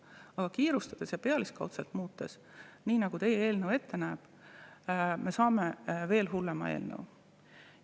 Aga kiirustades ja pealiskaudselt muutes, nii nagu teie eelnõu ette näeb, me saame veel hullema.